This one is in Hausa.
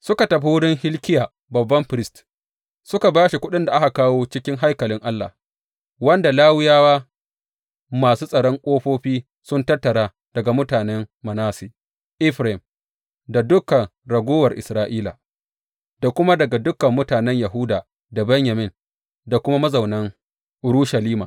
Suka tafi wurin Hilkiya babban firist suka ba shi kuɗin da aka kawo cikin haikalin Allah, wanda Lawiyawa masu tsaron ƙofofi sun tattara daga mutanen Manasse, Efraim da dukan raguwar Isra’ila da kuma daga dukan mutanen Yahuda da Benyamin da kuma mazaunan Urushalima.